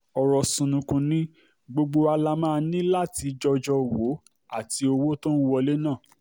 ọrọ̀ ṣùnnùkùn ni gbogbo wa la máa ní láti jọjọ́ wò ó àti owó tó ń wọlé náà